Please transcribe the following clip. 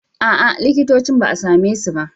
A'a, likitocin ba a same su ba.